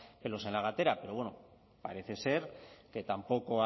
pelos en la gatera pero bueno parece ser que tampoco